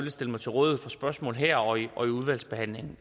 stille mig til rådighed for spørgsmål her og i og i udvalgsbehandlingen